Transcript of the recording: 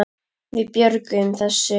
Við björgum þessu.